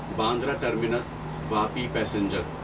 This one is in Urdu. Bandra terminus Vapi passenger